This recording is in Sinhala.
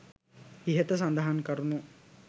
ඉහත සඳහන් කරුණු